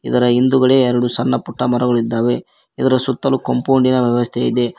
ಇದರ ಹಿಂದುಗಡೆ ಎರಡು ಸಣ್ಣ ಪುಟ್ಟ ಮರಗಳಿದ್ದಾವೆ ಇದರ ಸುತ್ತಲೂ ಕಾಂಪೌಂಡ್ ಇನ ವ್ಯವಸ್ಥೆ ಇದೆ.